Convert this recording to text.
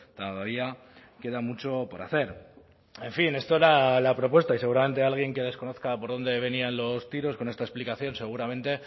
cada día queda mucho por hacer en fin esto era la propuesta y seguramente alguien que desconozca por dónde venían los tiros con esta explicación seguramente